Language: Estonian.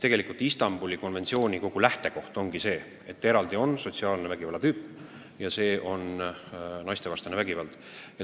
Tegelikult Istanbuli konventsiooni lähtekoht on see, et on olemas eraldi sotsiaalse vägivalla tüüp ja see on naistevastane vägivald.